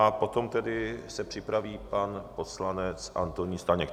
A potom se tedy připraví pan poslanec Antonín Staněk.